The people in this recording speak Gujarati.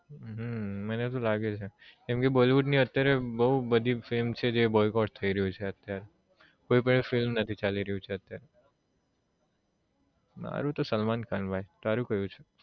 હમ મને તો લાગે છે કેમ કે bollywood અત્યારે બઉ બધી film છે જે boycott થઈ રહ્યું છે અત્યારે કોઈ પણ film નથી ચાલી રહ્યું છે અત્યારે મારુ તો સલમાનખાન ભાઈ તારું કયું છે?